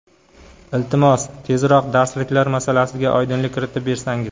Iltimos, tezroq darsliklar masalasiga oydinlik kiritib bersangiz.